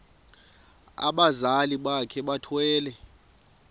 abazali bakhe bethwele